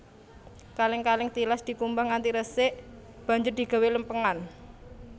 Kalèng kalèng tilas dikumbah nganti resik banjur digawé lèmpèngan